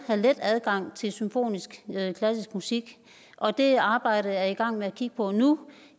let adgang til symfonisk klassisk musik og det arbejde er jeg i gang med at kigge på nu